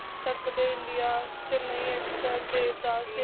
Chak De India Chennai Express Devdas